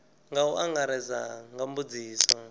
nga u angaredza nga mbudziso